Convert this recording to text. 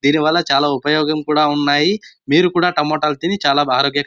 దేని వాళ్ళ చాల ఉపయోగం కూడా ఉన్నాయ్. మీరు కూడా టమోటా లు తిని చాల ఆరోగ్య--